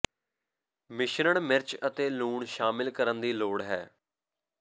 ਮਿਸ਼ਰਣ ਮਿਰਚ ਅਤੇ ਲੂਣ ਸ਼ਾਮਿਲ ਕਰਨ ਦੀ ਲੋੜ ਹੈ